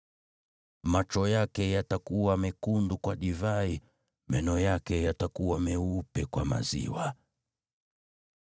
Macho yake yatakuwa mekundu kwa divai, meno yake yatakuwa meupe kwa maziwa.